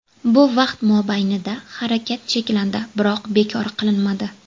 Bu vaqt mobaynida harakat cheklandi, biroq bekor qilinmadi.